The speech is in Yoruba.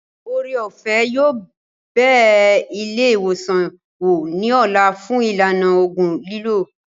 Ore-òfẹ́ yóò bẹ ilé ìwòsàn wò ní ọ̀la fún ìlànà ògùn lílò